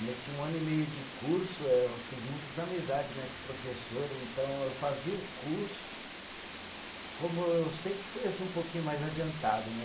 Nesse um ano e meio de curso, eu fiz muitas amizades né, com os professores, então eu fazia o curso, como eu sempre fui assim um pouquinho mais adiantado, né?